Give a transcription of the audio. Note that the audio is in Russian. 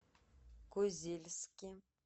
козельске